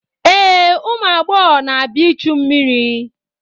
Ee, ụmụ agbọghọ na-abịa ichu mmiri.